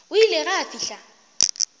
o ile ge a fihla